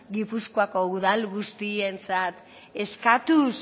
gipuzkoako udal guztientzat eskatuz